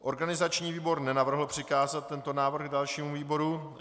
Organizační výbor nenavrhl přikázat tento návrh dalšímu výboru.